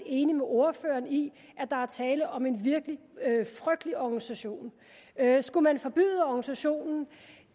enig med ordføreren i at der er tale om en virkelig frygtelig organisation skulle man forbyde organisationen